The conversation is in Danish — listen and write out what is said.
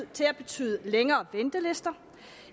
til at betyde længere ventelister